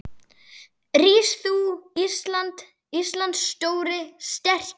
Rís þú, Íslands stóri, sterki